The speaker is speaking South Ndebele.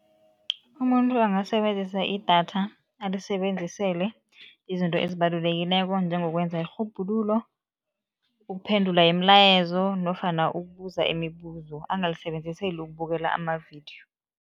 Umuntu angasebenzisa idatha, alisebenzisele izinto ezibalulekileko njengokwenza irhubhululo, ukuphendula imilayezo nofana ukubuza imibuzo, angalisebenziseli ukubukela amavidiyo.